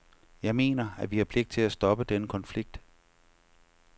Jeg mener, at vi har pligt til at stoppe den konflikt.